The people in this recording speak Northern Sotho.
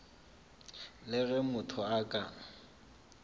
le ge motho a ka